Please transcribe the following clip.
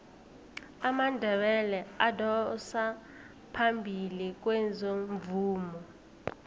amandebele adosa phambili kwezomvumo